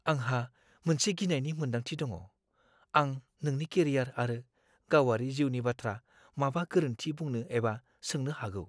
आंहा मोनसे गिनायनि मोनदांथि दङ, आं नोंनि केरियार आरो गावारि जिउनि बाथ्रा माबा गोरोन्थि बुंनो एबा सोंनो हागौ।